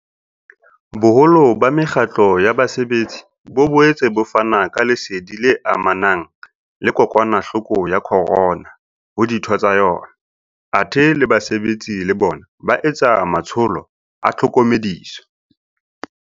Boholo ba mekgatlo ya basebetsi bo boetse bo fana ka lesedi le amanang le kokwanahloko ya corona ho ditho tsa yona, athe le basebetsi le bona ba etsa matsholo a tlhokomediso.